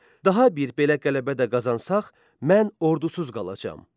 Daha bir belə qələbə də qazansaq, mən ordusuz qalacam.